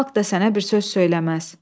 Xalq da sənə bir söz söyləməz."